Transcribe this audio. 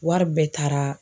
Wari bɛɛ taara